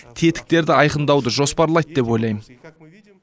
тетіктерді айқындауды жоспарлайды деп ойлаймын